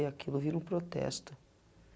E aquilo vira um protesto.